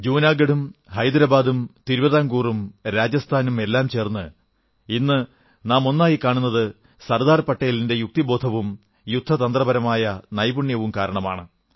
ജുനാഗഢും ഹൈദരാബാദും തിരുവിതാംകൂറും രാജസ്ഥാനും എല്ലാം ചേർന്ന് ഇന്നു നാം ഒന്നായി കാണുന്നത് സർദാർ പട്ടേലിന്റെ യുക്തിബോധവും യുദ്ധതന്ത്രപരമായ നൈപുണ്യവും കാരണമാണ്